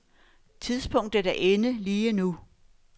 Tidspunktet er inde lige nu.